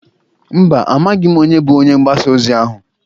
Mba, amaghị m onye bụ onye ngbasa ozi ahụ.